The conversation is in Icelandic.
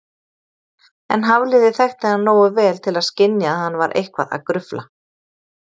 En Hafliði þekkti hann nógu vel til að skynja að hann var eitthvað að grufla.